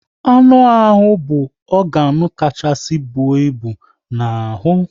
Anụ ahụ bụ ọganu kachasị bụọ ịbụ n'ahụ